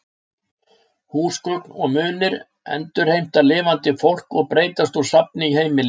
Húsgögn og munir endurheimta lifandi fólk og breytast úr safni í heimili.